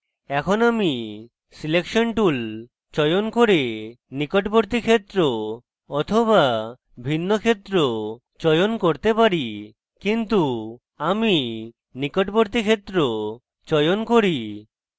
এখন আমি selection tool চয়ন করে নিকটবর্তী ক্ষেত্র বা ভিন্ন ক্ষেত্র চয়ন করতে পারি কিন্তু আমি নিকটবর্তী ক্ষেত্র চয়ন করি